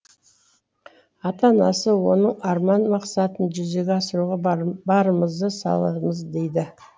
ата анасы оның арман мақсатын жүзеге асыруға барымызды саламыз дейді